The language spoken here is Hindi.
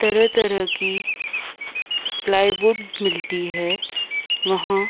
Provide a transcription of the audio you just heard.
तरह-तरह की प्लाईवुड मिलती है वहाँ।